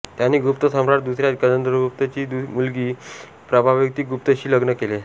त्यांनी गुप्त सम्राट दुसऱ्या चंद्रगुप्त ची मुलगी प्रभावतीगुप्तशी लग्न केले